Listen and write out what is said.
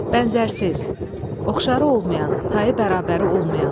Bənzərsiz, oxşarı olmayan, tayı bərabəri olmayan.